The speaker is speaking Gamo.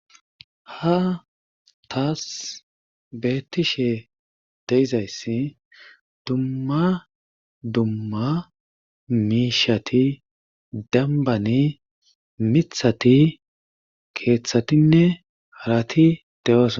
Ha tas beettishe de7izayssi dumma dumma miishetti dembbani mithati keethatinne harati de7ooso.